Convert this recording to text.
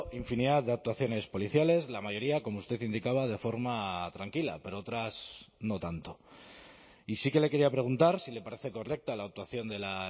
infinidad de actuaciones policiales la mayoría como usted indicaba de forma tranquila pero otras no tanto y sí que le quería preguntar si le parece correcta la actuación de la